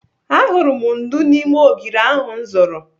Ahụrụ m ndú n'ime ogiri ahụ m zụrụ.